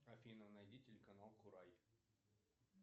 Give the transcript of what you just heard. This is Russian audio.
афина найди телеканал курай